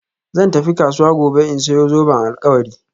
Zan tafi kasuwa gobe in sayi zoben alkawari